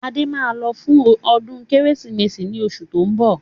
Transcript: Adé máa lọ fún ọdún Kérésìmesì ni oṣù tó ń bọ̀.